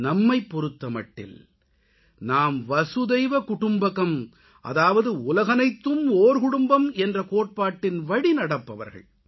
நம்மைப் பொறுத்தமட்டில் நாம் வசுதைவ குடும்பகம் அதாவது உலகனைத்தும் ஓர் குடும்பம் என்ற கோட்பாட்டின் வழி நடப்பவர்கள்